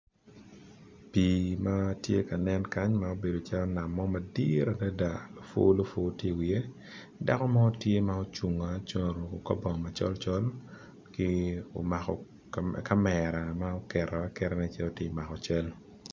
Pi matye ka nen kany ma obedo calo nam mo madit adada opulopul tye i wiye dako mo tye ma ocungo acunga oruko kor bongo macolcol ki omako camera ma okero aketa nen calo tye mako cal.